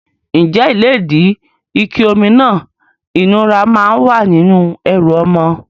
Ǹjẹ́ ìlédìí, ike omi náà ìnura máa ń wà nínú ẹrù ọmọ?